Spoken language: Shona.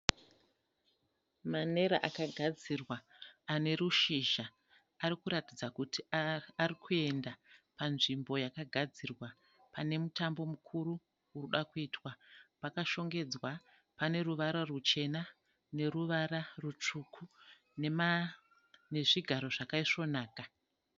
Manera akagadzirwa anerushizha. Arikuratidza kuti arikuenda panzvimbo yakagadzirwa, pane mutambo mukuru urikuda kuitwa. Pakashongedzwa, pane ruvara ruchena neruvara rwutsvuku nezvigaro zvakaisvonaka.